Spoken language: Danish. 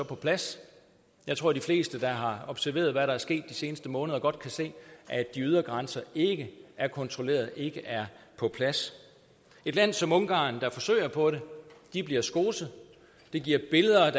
på plads jeg tror de fleste der har observeret hvad der er sket de seneste måneder godt kan se at de ydre grænser ikke er kontrolleret ikke er på plads et land som ungarn der forsøger på det bliver skoset det giver billeder